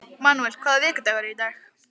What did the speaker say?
Manúel, hvaða vikudagur er í dag?